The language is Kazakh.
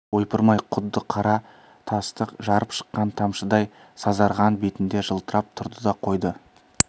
ойпырмай құдды қара тасты жарып шыққан тамшыдай сазарған бетінде жылтырап тұрды да қойды